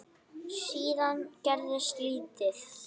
Síðan gerist lítið.